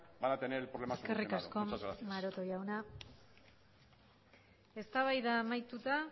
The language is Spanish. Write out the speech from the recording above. van a tener el problema solucionado muchas gracias eskerrik asko maroto jauna eztabaida amaituta